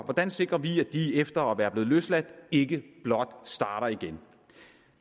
hvordan sikrer vi at de efter at de er blevet løsladt ikke blot starter igen